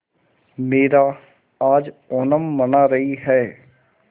मीरा आज ओणम मना रही है